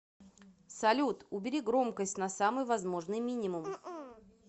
салют убери громкость на самый возможный мининум